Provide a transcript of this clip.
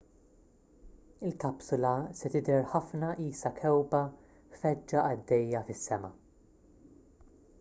il-kapsula se tidher ħafna qisha kewkba feġġa għaddejja fis-sema